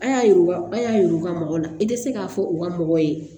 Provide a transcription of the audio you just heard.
A y'a yiru a y'a yira u ka mɔgɔ la i tɛ se k'a fɔ u ka mɔgɔ ye